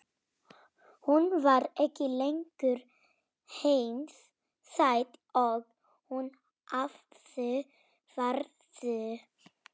Hún var ekki lengur eins sæt og hún hafði verið.